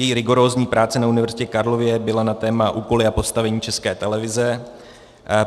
Její rigorózní práce na Univerzitě Karlově byla na téma Úkoly a postavení České televize.